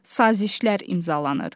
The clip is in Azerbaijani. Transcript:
Sazişlər imzalanır.